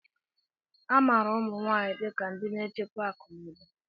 A maara ụmụ nwanyị dị ka ndị na-echekwa akụ na ụba.